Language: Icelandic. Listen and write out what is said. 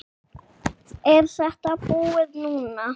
Er þetta búið núna?